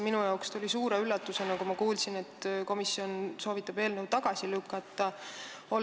Minu jaoks oli see suur üllatus, kui ma kuulsin, et komisjon soovitab eelnõu tagasi lükata.